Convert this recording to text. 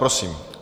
Prosím.